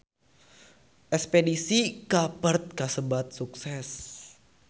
Espedisi ka Perth kasebat sukses